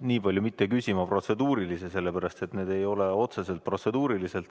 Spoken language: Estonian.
mitte nii palju küsima protseduurilisi küsimusi, sellepärast et need ei ole otseselt protseduurilised.